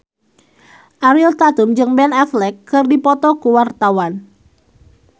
Ariel Tatum jeung Ben Affleck keur dipoto ku wartawan